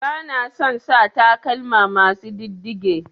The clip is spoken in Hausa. Bana son sa takalma masu ɗiddige.